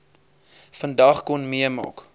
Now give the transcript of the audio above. vandag kon meemaak